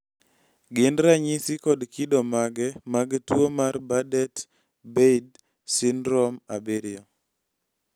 gin ranyisi kod kido mage mag tuwo mar bardet beidl syndrome 7 ?